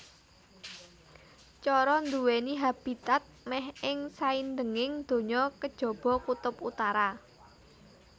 Coro nduwèni habitat mèh ing saindenging donya kejaba kutub utara